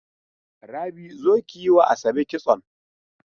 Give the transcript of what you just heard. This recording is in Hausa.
Rabi, zo kiyiwa Asabe kitson.